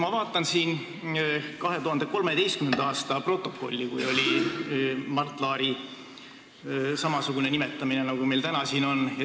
Ma vaatan protokolli 2013. aastast, kui oli samasugune Mart Laari ametisse nimetamine, nagu meil siin täna on.